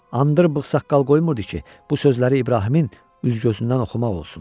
Andır bığ-saqqal qoymurdu ki, bu sözləri İbrahimin üz-gözündən oxumaq olsun.